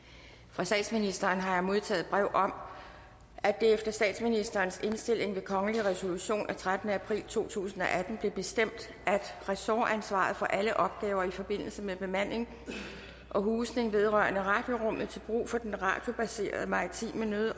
fra statsministeren har jeg modtaget brev om at det efter statsministerens indstilling ved kongelig resolution af trettende april to tusind og atten blev bestemt at ressortansvaret for alle opgaver i forbindelse med bemanding og husning vedrørende radiorummet til brug for den radiobaserede maritime nød